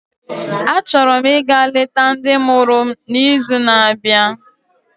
Achọrọ m ịga leta ndị mụrụ m n'izu na-abịa